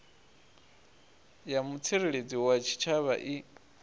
ya mutsireledzi wa tshitshavha i